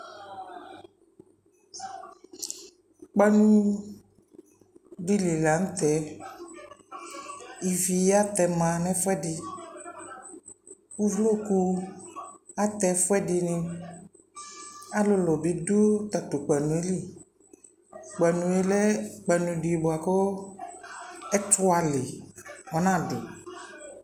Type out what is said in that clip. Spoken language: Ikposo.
Kpanu di li la ntɛIvi atɛma nɛ fuɛdi Uvuku atɛ ɛfuɛ diniAlulu bi du ta tu kpanu yɛ liKpanu yɛ lɛ kpanu di buaku ɛtua li ɔna du0